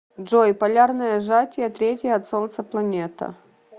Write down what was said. джой полярное сжатие третья от солнца планета